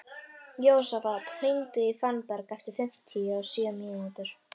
Jósafat, hringdu í Fannberg eftir fimmtíu og sjö mínútur.